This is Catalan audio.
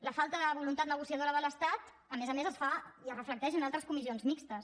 la falta de voluntat negociadora de l’estat a més a més es fa i es reflecteix en altres comissions mixtes